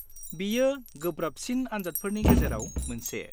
-बियो गोब्राबसिन आनजादफोरनि गेजेराव मोनसे।